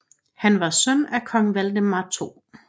Han var søn af kong Valdemar 2